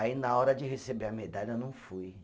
Aí, na hora de receber a medalha, eu não fui.